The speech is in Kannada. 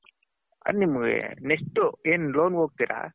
next ನೀವು ಏನು ಲೋಂಗೆ ಹೋಗ್ತಿರ .